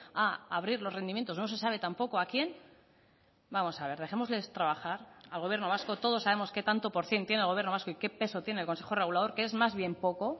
a abrir los rendimientos no se sabe tampoco a quién vamos a ver dejémosles trabajar al gobierno vasco todos sabemos que tanto por cien tiene el gobierno vasco y qué peso tiene el consejo regulador que es más bien poco